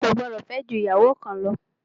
O kò gbọdọ̀ fẹ́ jù ìyàwó kan lọ!